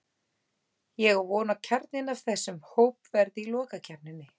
Ég á von á að kjarninn af þessum hóp verði í lokakeppninni.